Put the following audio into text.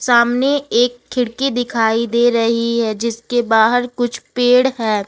सामने एक खिड़की दिखाई दे रही है जिसके बाहर कुछ पेड़ है ।